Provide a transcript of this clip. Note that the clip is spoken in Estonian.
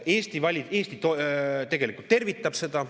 Eesti tegelikult tervitab seda.